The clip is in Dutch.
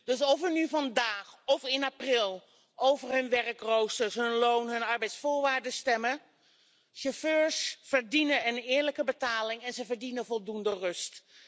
Dus of we nu vandaag of in april over hun werkroosters, hun lonen en arbeidsvoorwaarden stemmen, chauffeurs verdienen een eerlijke betaling en ze verdienen voldoende rust.